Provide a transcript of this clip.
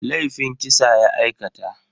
Laifin kisa ya aikata.